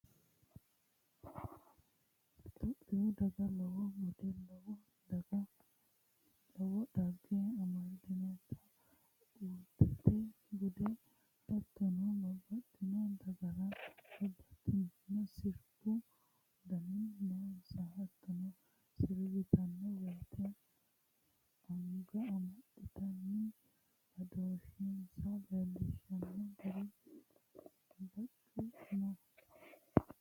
Tophiyu daga lowo bude lowo dhagge amadinote udirate bude hattono babbaxxitino dagara babbaxxino sirbu dani noonsa hattono sirbittano woyte anga amaxittanni badooshensa leelishano gari bacu no.